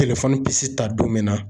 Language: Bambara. bi ta don min na